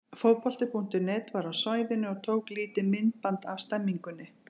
Fótbolti.net var á svæðinu og tók lítið myndband af stemningunni.